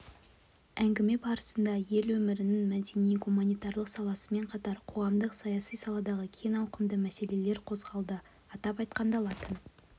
әңгіме барысында ел өмірінің мәдени-гуманитарлық саласымен қатар қоғамдық-саяси саладағы кең ауқымды мәселелер қозғалды атап айтқанда латын